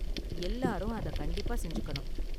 எல்லாரும் அதை கண்டிப்பா செஞ்சுக்கணும்.